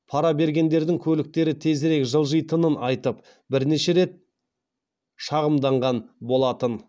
пара бергендердің көліктері тезірек жылжитынын айтып бірнеше рет шағымданған болатын